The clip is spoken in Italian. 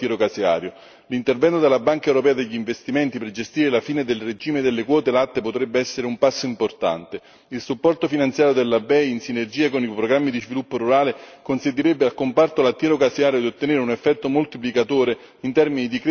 L'intervento della BEI per gestire la fine del regime delle quote latte potrebbe essere un passo importante il supporto finanziario della BEI, in sinergia con i programmi di sviluppo rurale, consentirebbe al comparto lattiero caseario di ottenere un effetto moltiplicatore in termini di crescita e di reddito.